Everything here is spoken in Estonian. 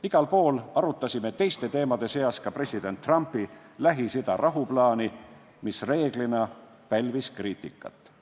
Igal pool arutasime teiste teemade seas ka president Trumpi Lähis-Ida rahuplaani, mis enamasti pälvis kriitikat.